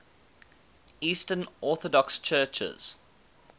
eastern orthodox churches